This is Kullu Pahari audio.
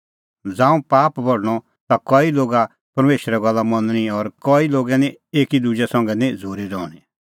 ज़ांऊं पाप बढणअ ता कई लोगा परमेशरे गल्ला मनणी और कई लोगे निं एकी दुजै संघै निं झ़ूरी रहणीं